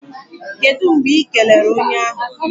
Kedụ mgbe Ị kelere onye ahụ?